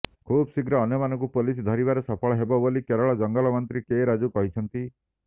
ଖୁବଶୀଘ୍ର ଅନ୍ୟମାନଙ୍କୁ ପୋଲିସ ଧରିବାରେ ସଫଳ ହେବ ବୋଲି କେରଳର ଜଙ୍ଗଲ ମନ୍ତ୍ରୀ କେ ରାଜୁ କହିଛନ୍ତି